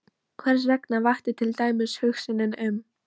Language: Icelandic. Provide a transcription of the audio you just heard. Hversvegna vakti til dæmis hugsunin um